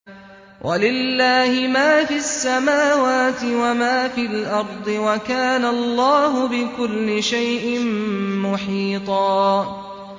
وَلِلَّهِ مَا فِي السَّمَاوَاتِ وَمَا فِي الْأَرْضِ ۚ وَكَانَ اللَّهُ بِكُلِّ شَيْءٍ مُّحِيطًا